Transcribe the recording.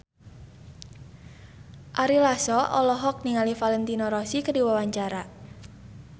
Ari Lasso olohok ningali Valentino Rossi keur diwawancara